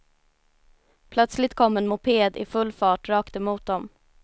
Plötsligt kom en moped i full fart rakt emot dem.